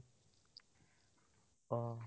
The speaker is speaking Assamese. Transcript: অ